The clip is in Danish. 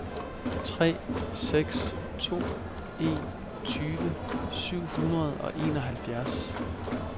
tre seks to en tyve syv hundrede og enoghalvfjerds